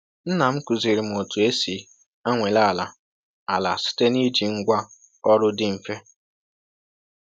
Nna m kụziri m otu esi anwale ala ala site n’iji ngwá ọrụ dị mfe.